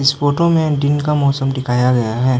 इस फोटो में दिन का मौसम दिखाया गया है।